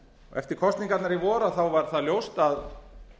eftir kosningarnar í vor var það ljóst að